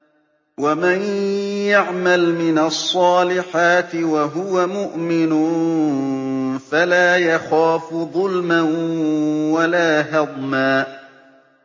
وَمَن يَعْمَلْ مِنَ الصَّالِحَاتِ وَهُوَ مُؤْمِنٌ فَلَا يَخَافُ ظُلْمًا وَلَا هَضْمًا